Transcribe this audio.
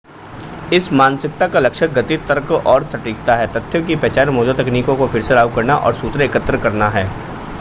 इस मानसिकता का लक्ष्य गति तर्क और सटीकता है तथ्यों की पहचान मौजूदा तकनीकों को फिर से लागू करना और सूचना एकत्र करना है